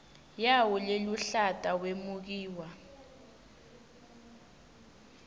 yawo leluhlata wemukiwe